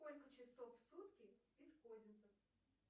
сколько часов в сутки спит козинцев